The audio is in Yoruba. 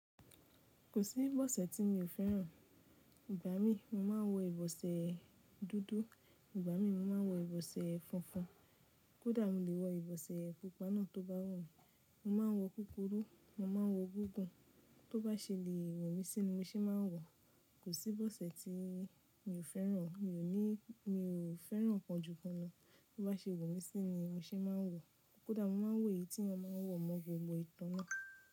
Kò sí ìbọ̀sẹ̀ tí mi ò fẹ́ràn. Ìgbà mí mo máa ń wọ ìbọ̀sẹ̀ dúdú, ìgbà mi mo máa ń wọ ìbọ̀sẹ̀ funfun. Kódà mo lè wọ ìbọ̀sẹ̀ pupa náà tó bá wù mí. Mo máa wọ kúkúrú, mo máa wọ gúgùn. Tó bá ṣe lè wọ̀ mí sí ni, mo ṣe máa ń wọ̀. Kò sí ìbọ̀sẹ̀ tí mi ò fẹ́ràn. Mi ò ní, mi ò fẹ́ràn kan jú kan lọ. Tó bá ṣe wọ̀ mí sí ni, mo ṣe máa ń wọ̀. Kódà mo máa wọ èyí tí èèyàn máa ń wọ mọ́ gbogbo ìtàn náà.